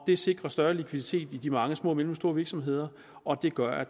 det sikrer større likviditet i de mange små og mellemstore virksomheder og det gør at